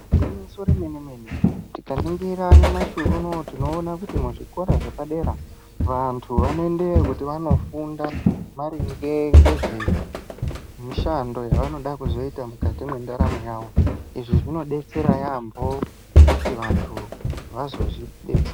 Gwinyiso remene mene tikaningira nyamashi unou tinoona kuti muzvikora zvepadera vantu vanoendewo kuti vandofunda maringe ngezvemushando yavoda kuzoita mukati mwendaramo yavo izvi zvinodetsera yambo kuti vantu vazozvidetse.